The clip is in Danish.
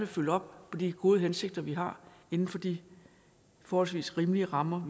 følge op på de gode hensigter vi har inden for de forholdsvis rimelige rammer